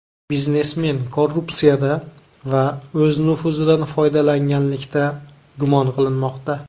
Biznesmen korrupsiyada va o‘z nufuzidan foydalanganlikda gumon qilinmoqda.